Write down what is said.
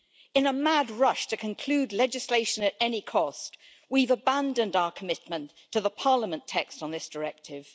In a mad rush to conclude legislation at any cost, we've abandoned our commitment to the Parliament text on this Directive.